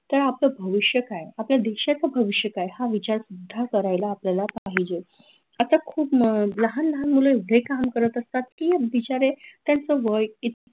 तर, आपलं भविष्य काय? आपल्या देशाचं भविष्य काय? हा विचार सुद्धा करायला आपल्याला पाहिजे आता खूप अं लाहान लाहान मुलं एवढे काम करत असतात की बिचारे त्यांचं वय इ